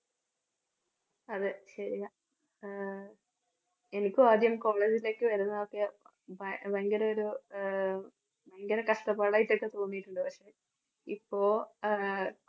അതേ ശരിയാ. ആഹ് എനിക്കും ആദ്യം college ലേയ്ക്ക് വരുന്നതൊക്കെ ഭ~ഭയങ്കര ഒരു ആഹ് ഭയങ്കര കഷ്ടപ്പാടായിട്ടൊക്കെ തോന്നിയിട്ടുണ്ട്. പക്ഷേ ഇപ്പോ ആഹ്